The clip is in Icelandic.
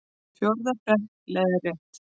Fjórða prentun, leiðrétt.